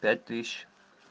пять тысяч